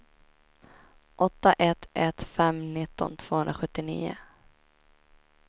åtta ett ett fem nitton tvåhundrasjuttionio